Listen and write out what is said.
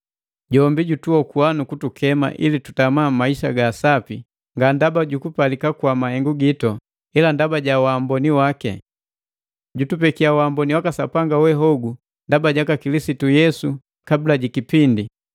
Jombi jutuokua nukutukema ili tutama maisa ga sapi, nga ndaba jukupalika kwa mahengu gitu, ila ndaba ja waamboni waki. Jutupeki uamboni waka Sapanga we hogu ndaba jaka Kilisitu Yesu kabula ji kipindi,